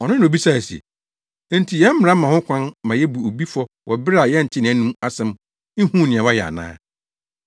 Ɔno na obisae se, “Enti yɛn mmara ma ho kwan ma yebu obi fɔ wɔ bere a yɛntee nʼanom asɛm, nhuu nea wayɛ ana?”